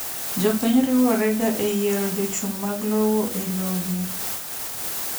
Jopiny riworega eyirero jochung' mag lowo elogi.